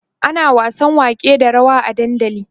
ana wasan wake da rawa a dandali